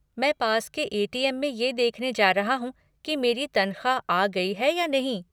मैं पास के ए.टी.एम. में ये देखने जा रहा हूँ की मेरी तनख़्वाह आ गई है या नहीं।